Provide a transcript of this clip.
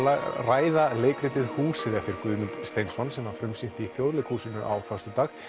ræða leikritið húsið eftir Guðmund Steinsson sem var frumsýnt í Þjóðleikhúsinu á föstudag